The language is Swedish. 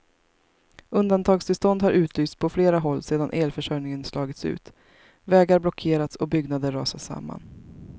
Undantagstillstånd har utlysts på flera håll sedan elförsörjningen slagits ut, vägar blockerats och byggnader rasat samman.